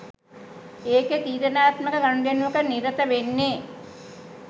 ඒකෙ තීරණාත්මක ගනුදෙනුවක නිරත වෙන්නෙ